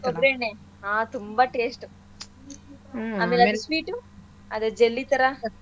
ಕೊಬ್ರೆಣ್ಣೆ ಹಾ ತುಂಬಾ taste ಉ ಆಮೇಲೆ ಅದ್ sweet ಉ ಅದೇ jelly ಥರಾ.